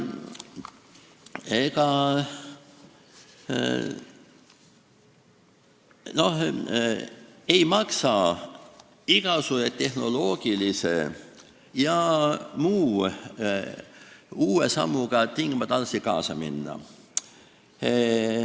Ega ei maksa igasuguse tehnoloogilise ja muu uuendusega tingimata alati kaasa minna.